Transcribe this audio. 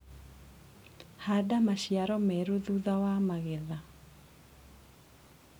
Handa maciaro merũ thutha wa magetha.